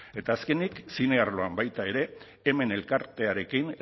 eta azkenik zine arloan baita ere hemen elkartearekin